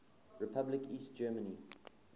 republic east germany